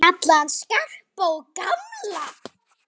Kalla hann Skarpa og gamla!